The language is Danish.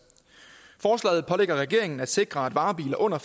forslaget pålægger regeringen at sikre at varebiler under